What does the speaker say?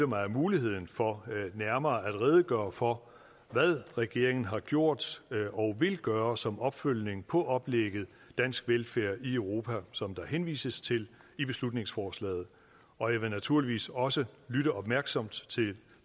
mig af muligheden for nærmere at redegøre for hvad regeringen har gjort og vil gøre som opfølgning på oplægget dansk velfærd i europa som der henvises til i beslutningsforslaget og jeg vil naturligvis også lytte opmærksomt til